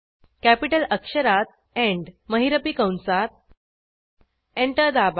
capital अक्षरात E N D महिरपी कंसात एंटर दाबा